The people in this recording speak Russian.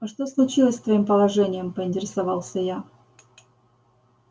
а что случилось с твоим положением поинтересовался я